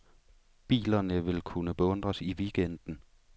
Bilerne vil kunne beundres i weekenden.